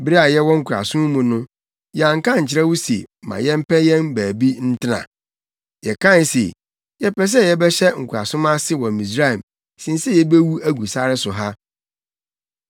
Bere a yɛwɔ nkoasom mu no, yɛanka ankyerɛ wo se ma yɛmpɛ yɛn baabi ntena? Yɛkae se yɛpɛ sɛ yɛbɛhyɛ nkoasom ase wɔ Misraim sen sɛ yebewu agu sare so ha.”